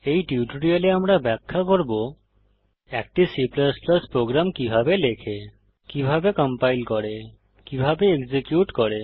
এই টিউটোরিয়ালে আমরা ব্যাখ্যা করব একটি C প্রোগ্রাম কিভাবে লেখে কিভাবে কম্পাইল করে কিভাবে এক্সিকিউট করে